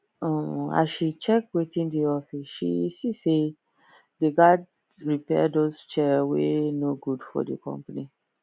um as she check wetin dey office she see say they gat repair those chair wey no good for the company